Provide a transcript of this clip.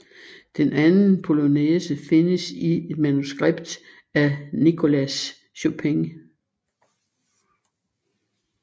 Den anden polonæse findes i et manuskript af Nicolas Chopin